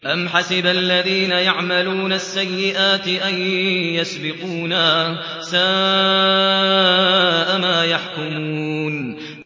أَمْ حَسِبَ الَّذِينَ يَعْمَلُونَ السَّيِّئَاتِ أَن يَسْبِقُونَا ۚ سَاءَ مَا يَحْكُمُونَ